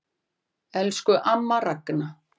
Elsku amma Ragna.